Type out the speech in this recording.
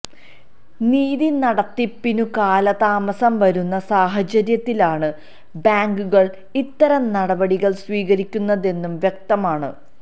നീതി നടത്തിപ്പിനു കാലതാമസം വരുന്ന സാഹചര്യത്തിലാണ് ബാങ്കുകള് ഇത്തരം നടപടികള് സ്വീകരിക്കുന്നതെന്നു വ്യക്തമാണ്